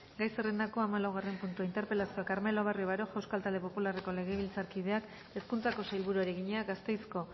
gai zerrendako hamalaugarren puntua interpelazioa carmelo barrio baroja euskal talde popularreko legebiltzarkideak hezkuntzako sailburuari egina gasteizko